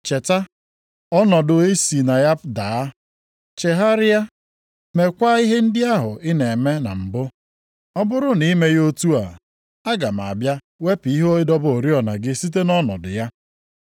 Cheta ọnọdụ i si na ya daa. Chegharịa, mekwa ihe ndị ahụ ị na-eme na mbụ. Ọ bụrụ na i meghị otu a, aga m abịa wepụ ihe ịdọba oriọna gị site nʼọnọdụ ya.